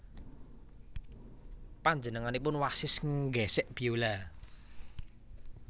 Panjenenganipun wasis nggésék biola